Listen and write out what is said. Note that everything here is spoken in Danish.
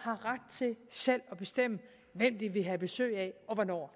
har ret til selv at bestemme hvem de vil have besøg af og hvornår